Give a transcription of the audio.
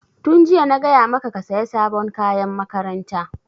Tun jiya na gaya maka ka saya sabon kayan makaranta!